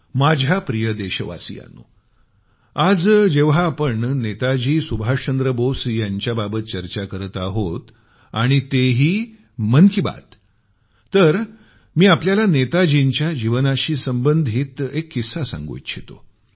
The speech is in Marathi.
माझ्या प्रिय देशवासियांनो आज जेव्हा आपण नेताजी सुभाषचंद्र बोस यांच्याबाबत चर्चा करत आहोत आणि ते ही मन की बात तर मी आपल्याला नेताजींच्या जीवनाशी संबंधित एक किस्सा सांगू इच्छितो